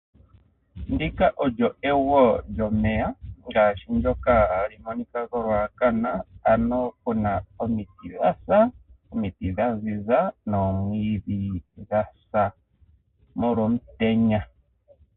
Ndika olyo egwo lyomeya ngaashi ndyoka ha li monika kolwaakana ano ku na omiti dha sa, omiti dha ziza nomwiidhi gwa sa molwa omutenya.